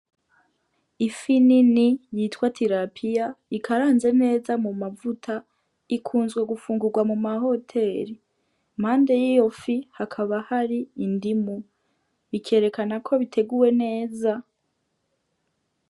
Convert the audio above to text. Ifi nini yitwa tirapiya ikaranze neza mu mavuta ikunzwe gufungugwa muma hoteri, impande yiyo fi hakaba hari indimu bikerekana ko biteguwe neza.